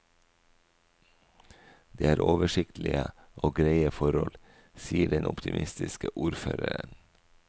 Det er oversiktlige og greie forhold, sier den optimistiske ordføreren.